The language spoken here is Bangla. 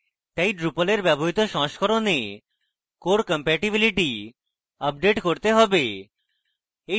তাই drupal এর ব্যবহৃত সংস্করণে core compatibility আপডেট করতে have